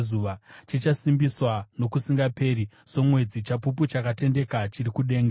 chichasimbiswa nokusingaperi somwedzi, chapupu chakatendeka chiri kudenga.” Sera